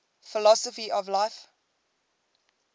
philosophy of life